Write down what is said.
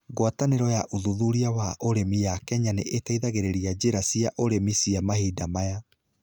Ngwatanĩro ya ũthuthuria wa ũrĩmi ya Kenya nĩ ĩteithagĩrĩria njĩra cia ũrĩmi cia mahinda maya.